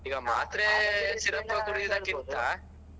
ಈಗ ಮಾತ್ರೆ syrup ಕುಡಿಯುದಕ್ಕಿಂತ.